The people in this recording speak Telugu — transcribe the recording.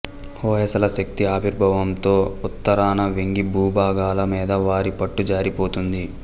హొయసల శక్తి ఆవిర్భావంతో ఉత్తరాన వెంగీ భూభాగాల మీద వారి పట్టు జారిపోతోంది